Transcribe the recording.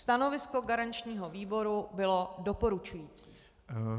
Stanovisko garančního výboru bylo doporučující.